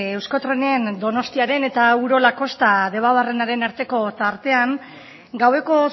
euskotrenen donostiaren eta urola kosta debabarrenaren arteko tartean gaueko